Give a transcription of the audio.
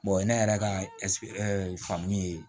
o ye ne yɛrɛ ka faamu ye